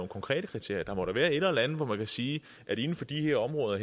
konkrete kriterier der må da være et eller andet hvor man kan sige at inden for de her områder